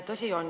Tõsi on.